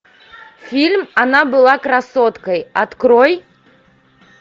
фильм она была красоткой открой